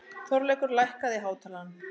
Þorleikur, lækkaðu í hátalaranum.